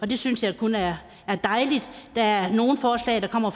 det synes jeg kun er dejligt der er nogle forslag der kommer